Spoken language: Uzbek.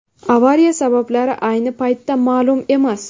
Avariya sabablari ayni paytda ma’lum emas.